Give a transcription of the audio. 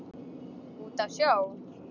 Út á sjó?